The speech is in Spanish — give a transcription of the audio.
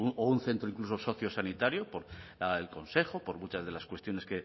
o un centro incluso sociosanitarios por lo del consejo por muchas de las cuestiones